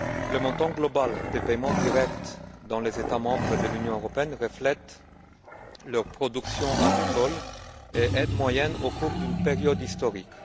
Le montant global des paiements directs dans les États membres de l'Union européenne reflète leur production agricole et le niveau moyen des aides au cours d'une période historique.